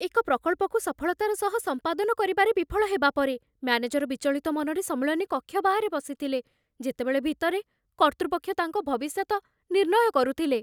ଏକ ପ୍ରକଳ୍ପକୁ ସଫଳତାର ସହ ସମ୍ପାଦନ କରିବାରେ ବିଫଳ ହେବା ପରେ, ମ୍ୟାନେଜର ବିଚଳିତ ମନରେ ସମ୍ମିଳନୀ କକ୍ଷ ବାହାରେ ବସିଥିଲେ, ଯେତେବେଳେ ଭିତରେ କର୍ତ୍ତୃପକ୍ଷ ତାଙ୍କ ଭବିଷ୍ୟତ ନିର୍ଣ୍ଣୟ କରୁଥିଲେ।